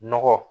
Nɔgɔ